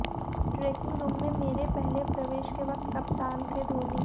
dressing room में मेरे पहले प्रवेश के वक्त कप्तान थे धोनी